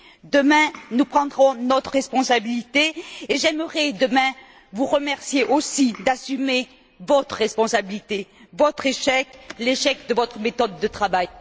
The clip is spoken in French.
Demain, nous prendrons notre responsabilité et j'aimerais, demain, pouvoir vous remercier aussi d'assumer votre responsabilité, votre échec, l'échec de votre méthode de travail.